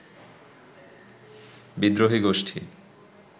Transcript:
বিদ্রোহীগোষ্ঠী